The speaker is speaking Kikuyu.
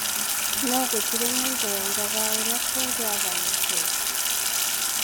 No gũtirĩ mũndũ woigaga ũrĩa kũngĩahanĩkire.